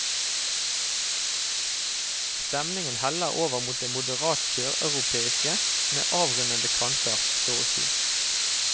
Stemningen heller over mot det moderat søreuropeiske, med avrundede kanter, så å si.